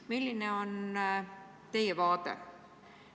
Milline on teie vaade?